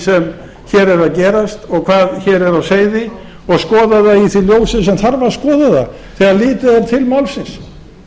er að gerast og hvað hér er á seyði og skoða það í því ljósi sem þarf að skoða það þegar litið er til málsins